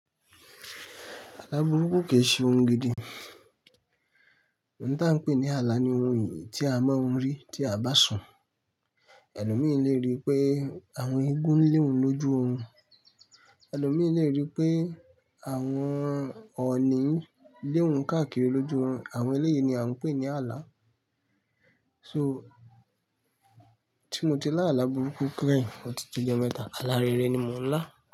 Alá burúkú kì í ṣe ohun gidi. Ohun tí a ń pè ní ààlà ni ohun eyì tí a máa ń rí tí a bá sùn. Ẹni mìí le rí pé àwọn igún lé òun lójú òrun, elo mìí le rí pé àwọn ọ̀ọ̀ni nlé òun káàkiri lójú òrun. Àwọn ẹlẹyìí ni a ń pè ní ààlà. So, tí mo ti lá ààlà burúkú kẹ́yìn ọ tí tojo mẹ́ta, alá rere ni mo ń lá.